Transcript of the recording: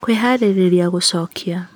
kwĩharĩria gũcokia